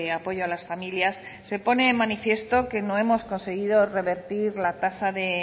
apoyo a las familias se pone de manifiesto que no hemos conseguido revertir la tasa de